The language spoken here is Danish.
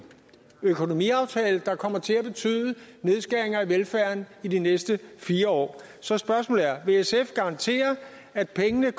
økonomiaftale der kommer til at betyde nedskæringer i velfærden i de næste fire år så spørgsmålet er vil sf garantere at pengene